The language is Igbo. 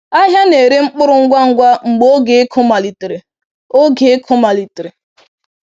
Ahịa na-ere mkpụrụ ngwa ngwa mgbe oge ịkụ malitere. oge ịkụ malitere.